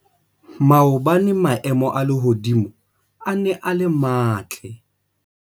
Maobane maemo a lehodimo a ne a le matle.